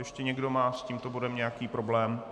Ještě někdo má s tímto bodem nějaký problém?